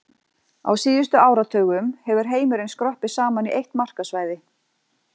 Á síðustu áratugum hefur heimurinn skroppið saman í eitt markaðssvæði.